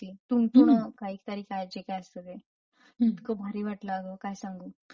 तुणतुणं कायतरी काय जे काही असत ते इतकं भारी वाटलं अग. काय सांगू!